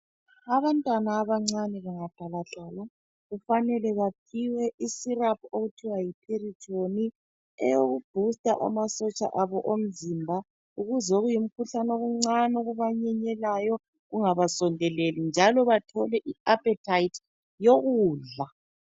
Abantwana abancane bengahlala hlala kufanele baphiwe isyrup okuthiwa yi Piriton. Eyoku booster amasotsha abo omzimba ukuze okuyimikhuhlane okuncane okubanyenyelayo kungabasondeleli bethole iappetite yokudla.